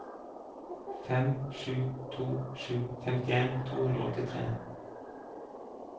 fem sju to sju femtien to hundre og åttitre